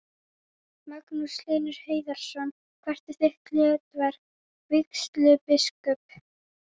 Magnús Hlynur Hreiðarsson: Hvert er hlutverk vígslubiskups?